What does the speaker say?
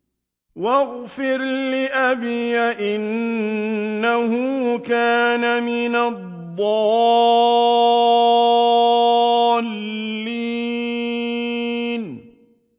وَاغْفِرْ لِأَبِي إِنَّهُ كَانَ مِنَ الضَّالِّينَ